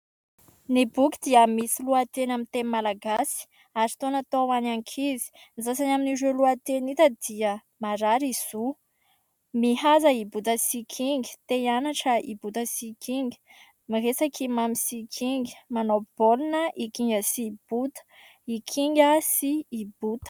Ny boky dia misy lohateny amin'ny teny malagasy ; ary toa natao ho any ankizy. Ny sasany amin'ireo lohateny hita dia : "Marary i Zo !"; "Mihaza i Bota sy i Kinga" ; "Te hianatra i Bota sy i Kinga" ; "Miresaka i Mamy sy i Kinga" ; "Manao baolina i Kinga sy i Bota" ; "I Kinga sy i Bota".